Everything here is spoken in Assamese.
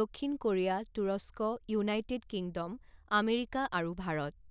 দক্ষিণ কোৰিয়া, তুৰস্ক, ইউনাইটেড কিংডম, আমেৰিকা আৰু ভাৰত।